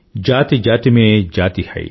जातिजाति में जाति है